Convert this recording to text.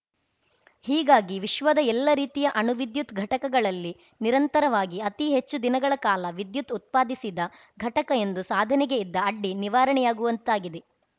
ಹೀಗಾಗಿ ವಿಶ್ವದ ಎಲ್ಲ ರೀತಿಯ ಅಣು ವಿದ್ಯುತ್‌ ಘಟಕಗಳಲ್ಲಿ ನಿರಂತರವಾಗಿ ಅತಿ ಹೆಚ್ಚು ದಿನಗಳ ಕಾಲ ವಿದ್ಯುತ್‌ ಉತ್ಪಾದಿಸಿದ ಘಟಕ ಎಂದು ಸಾಧನೆಗೆ ಇದ್ದ ಅಡ್ಡಿ ನಿವಾರಣೆಯಾಗುವಂತಾಗಿದೆ